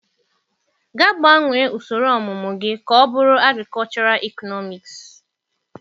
Gaa gbanwee usoro ọmụmụ gị ka ọ bụrụ Agrikọchọral ịknomiksị.